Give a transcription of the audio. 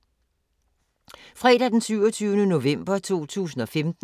Fredag d. 27. november 2015